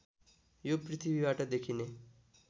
यो पृथ्वीबाट देखिने